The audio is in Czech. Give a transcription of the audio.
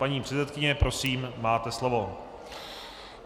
Paní předsedkyně, prosím, máte slovo.